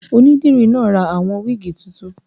Onídìrí náà ra àwọn wíìgì tuntun